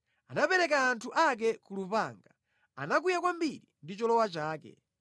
Anapereka anthu ake ku lupanga; anakwiya kwambiri ndi cholowa chake.